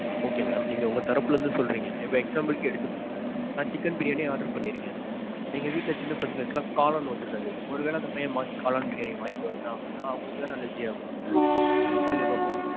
Okay mam. நீங்க உங்க தரப்புல இருந்து சொல்றீங்க. இப்போ example க்கு எடுத்துப்போம். நான் chicken biriyaniorder பண்ணியிருக்கேன். எங்க வீட்ல சின்ன பசங்களுக்கு எல்லாம் காளான் ஒத்துக்காது. ஒருவேள அந்த பைய்யன் மாத்தி காளான் biriyani வாங்கிட்டு வந்துட்டான் அப்பிடினா அவங்களுக்கு தானே allergy ஆகும். சொல்லுங்க பாப்போம்.